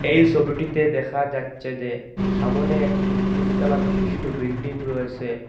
এই সবিটিতে দেখা যাচ্ছে যে সামনে একটি তিনতলা বিশিষ্ট বিল্ডিং রয়েসে।